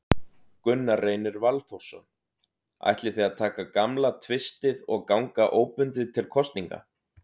Gunnar Reynir Valþórsson: Ætlið þið að taka gamla tvistið og ganga óbundið til kosninga?